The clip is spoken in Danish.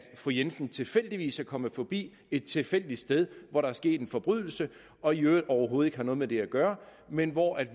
fru jensen tilfældigvis kom forbi et tilfældigt sted hvor der var sket en forbrydelse og i øvrigt overhovedet noget med det at gøre men hvor